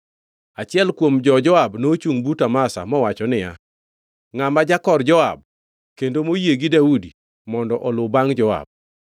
Achiel kuom jo-Joab nochungʼ but Amasa mowacho niya, “Ngʼama jakor Joab; kendo moyie gi Daudi mondo oluw bangʼ Joab!”